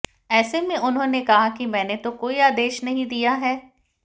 ऐसे में उन्होंने कहा कि मैने तो कोई आदेश नहीं दिया है